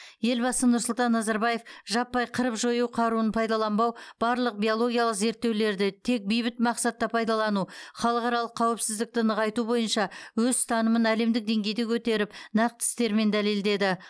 елбасы нұрсұлтан назарбаев жаппай қырып жою қаруын пайдаланбау барлық биологиялық зерттеулерді тек бейбіт мақсатта пайдалану халықаралық қауіпсіздікті нығайту бойынша өз ұстанымын әлемдік деңгейде көтеріп нақты істермен дәлелдеді